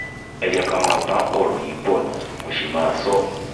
ẹ jẹ́ ká máa bá ọ̀rọ̀ yìí bọ́ ná mo sì máa sọ ọ́